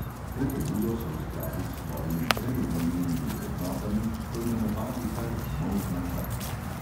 To pobudo so v skladu s svojimi prej omenjenimi vrednotami poimenovali kar molzna krava.